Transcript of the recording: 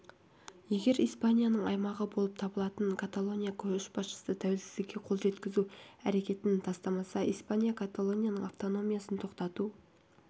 егер испанияның аймағы болып табылатын каталония көшбасшысы тәуелсіздікке қол жеткізу әрекетін тастамаса испания каталонияның автономиясын тоқтату